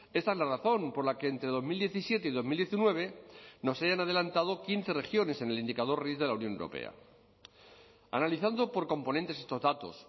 esta es la razón por la que entre dos mil diecisiete y dos mil diecinueve nos hayan adelantado quince regiones en el indicador de la unión analizando por componentes estos datos